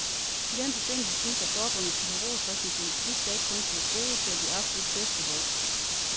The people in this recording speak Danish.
I den forbindelse synes jeg forbundet skal have ros for sin politik, der ikke kun tilgodeser de absolut bedste hold.